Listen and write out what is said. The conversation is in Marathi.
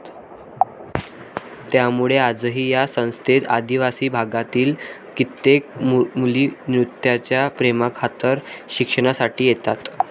त्यामुळे आजही या संस्थेत आदिवासी भागातील कित्येक मुली नृत्याच्या प्रेमाखातर शिकण्यासाठी येतात.